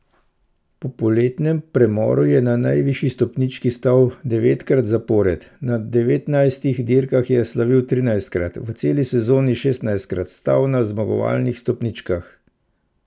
Po poletnem premoru je na najvišji stopnički stal devetkrat zapored, na devetnajstih dirkah je slavil trinajstkrat, v celi sezoni šestnajstkrat stal na zmagovalnih stopničkah.